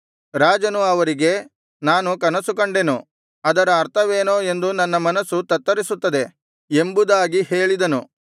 ರಾಜನು ಅವರಿಗೆ ನಾನು ಕನಸುಕಂಡೆನು ಅದರ ಅರ್ಥವೇನೋ ಎಂದು ನನ್ನ ಮನಸ್ಸು ತತ್ತರಿಸುತ್ತದೆ ಎಂಬುದಾಗಿ ಹೇಳಿದನು